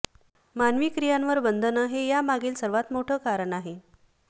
मानवी क्रियांवर बंधनं हे यामागील सर्वात मोठं कारण आहे